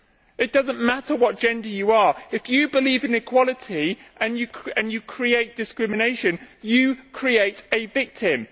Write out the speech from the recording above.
It does not matter what gender you are if you believe in equality and you create discrimination, you create a victim.